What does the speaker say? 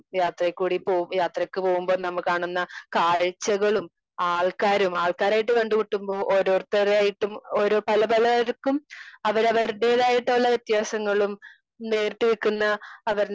speaker 2 യത്രേ കൂടി പോകു യത്രക്ക് പോകുമ്പോ കാണുന്ന കാഴ്ചകളും ആൾക്കാരും ആൾക്കാരായിട്ട് കണ്ടുമുട്ടുമ്പോ ഓരോരുത്തരായിട്ടും ഓരോ പല പലയിർക്കും അവരവരിടേതായിട്ടുള്ള വ്യത്യാസങ്ങളും നീർത്തി വെക്കുന്ന അവരുടെ